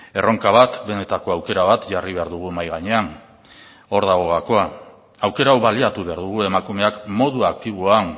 erronka bat benetako aukera bat jarri behar dugu mahai gainean hor dago gakoa aukera hau baliatu behar dugu emakumeak modu aktiboan